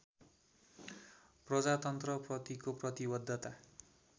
प्रजातन्त्र प्रतिको प्रतिवद्धता